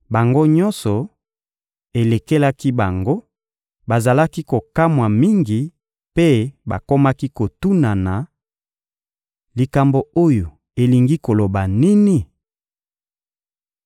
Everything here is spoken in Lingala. Bango nyonso, elekelaki bango, bazalaki kokamwa mingi mpe bakomaki kotunana: «Likambo oyo elingi koloba nini?»